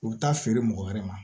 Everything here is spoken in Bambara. U bɛ taa feere mɔgɔ wɛrɛ ma